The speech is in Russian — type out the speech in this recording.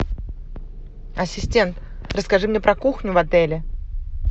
ассистент расскажи мне про кухню в отеле